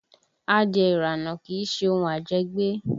Adìẹ ìrànà kì í ṣe ohun ajẹ́gbé